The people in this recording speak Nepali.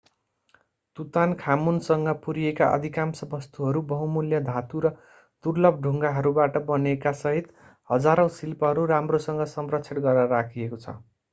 तुतानखामुनसँग पुरिएका अधिकांश वस्तुहरू बहुमूल्य धातु र दुर्लभ ढुङ्गाहरूबाट बनेकासहित हजारौं शिल्पहरू राम्रोसँग संरक्षण गरेर राखिएको छ